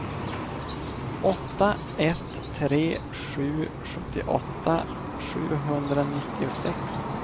åtta ett tre sju sjuttioåtta sjuhundranittiosex